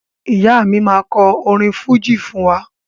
Ìyá mi máa kọ orin fújì fún wa